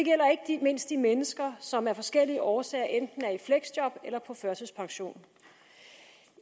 ikke mindst de mennesker som af forskellige årsager enten er i fleksjob eller på førtidspension